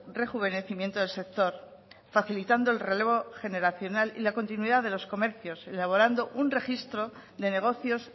rejuvenecimiento del sector facilitando el relevo generacional y la continuidad de los comercios elaborando un registro de negocios